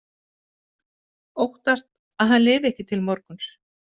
Óttast að hann lifi ekki til morguns.